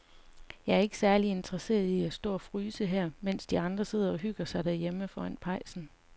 Jeg er ikke særlig interesseret i at stå og fryse her, mens de andre sidder og hygger sig derhjemme foran pejsen.